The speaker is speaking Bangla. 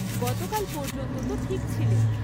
গতকাল পর্যন্ত তো ঠিক ছিলে।